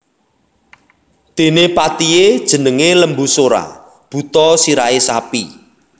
Dene patihe jenenge Lembusura buta sirahe sapi